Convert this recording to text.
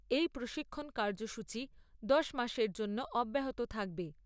এই প্রশিক্ষণ কার্যসূচী দশ মাসের জন্য অব্যাহত থাকবে।